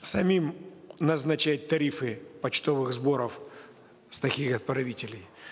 самим назначать тарифы почтовых сборов с таких отправителей